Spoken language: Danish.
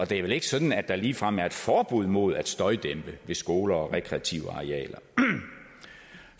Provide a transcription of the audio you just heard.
det er vel ikke sådan at der ligefrem er et forbud mod at støjdæmpe ved skoler og rekreative arealer